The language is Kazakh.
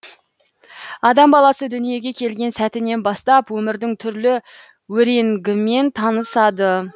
адам баласы дүниеге келген сәттінен бастап өмірдің түрлі өренгімен танысады